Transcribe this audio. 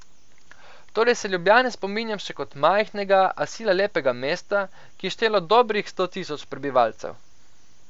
Torej se Ljubljane spominjam še kot majhnega, a sila lepega mesta, ki je štelo dobrih sto tisoč prebivalcev.